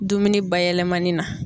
Dumuni bayɛlɛmani na.